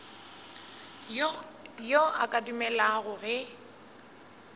yo a ka dumelago ge